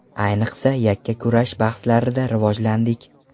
Ayniqsa, yakkakurash bahslarida rivojlandik.